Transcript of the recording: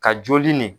Ka joli nin